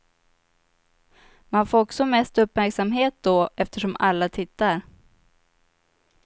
Man får också mest uppmärksamht då eftersom alla tittar.